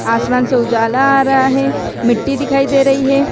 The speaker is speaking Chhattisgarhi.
आसमान से उजाला आ रहा हे मिट्टी दिखाई दे रही हे।